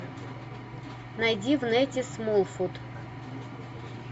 найди в нете смолфут